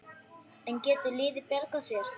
En getur liðið bjargað sér?